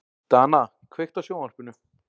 Dana, kveiktu á sjónvarpinu.